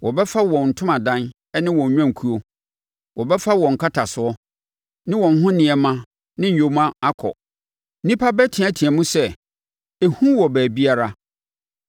Wɔbɛfa wɔn ntomadan ne wɔn nnwankuo; wɔbɛfa wɔn nkatasoɔ, ne wɔn ho nneɛma ne nyoma akɔ. Nnipa bɛteateam sɛ, ‘Ehu wɔ baabiara!’